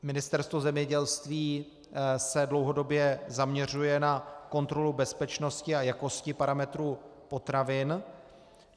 Ministerstvo zemědělství se dlouhodobě zaměřuje na kontrolu bezpečnosti a jakosti parametrů potravin.